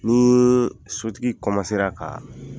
Nii sotigi ka